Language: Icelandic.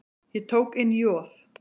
Ég tók inn Joð.